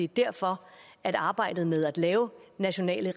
derfor at arbejdet med at lave nationale